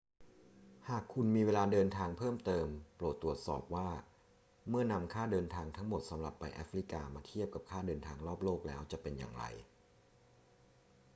หากคุณมีเวลาเดินทางเพิ่มเติม โปรดตรวจสอบว่าเมื่อนำค่าเดินทางทั้งหมดสำหรับไปแอฟริกามาเทียบกับค่าเดินทางรอบโลกแล้วจะเป็นอย่างไร